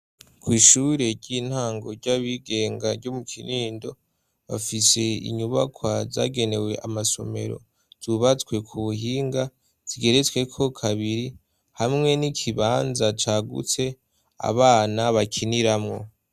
Kw'ishure ry'intango ry'abigenga ryo mu Kinindo, bafise inyubakwa zagenewe amasomero. Zubatswe ku buhinga zigeretsweko kabiri, hamwe n'ikibanza cagutse abana bakiniramwo.